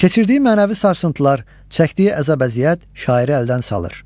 Keçirdiyi mənəvi sarsıntılar, çəkdiyi əzab-əziyyət şairi əldən salır.